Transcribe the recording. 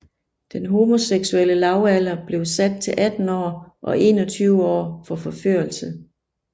Den homoseksuelle lavalder blev sat til 18 år og 21 år for forførelse